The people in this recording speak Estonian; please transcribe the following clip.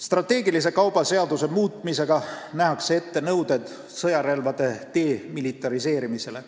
Strateegilise kauba seaduse muutmisega nähakse ette nõuded sõjarelvade demilitariseerimisele.